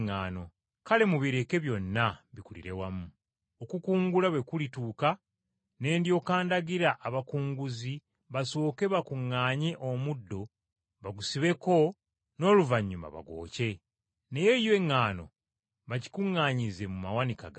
Kale mubireke byonna bikulire wamu, okukungula bwe kulituuka ne ndyoka ndagira abakunguzi basooke bakuŋŋaanye omuddo bagusibeko n’oluvannyuma bagwokye, naye yo eŋŋaano bagikuŋŋaanyize mu tterekero lyange.’ ”